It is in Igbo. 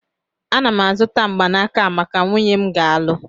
Ana m azụta mgbanaka a maka nwunye m nga alụ